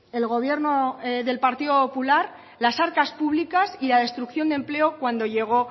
el gobierno del partido popular las arcas públicas y la destrucción de empleo cuando llego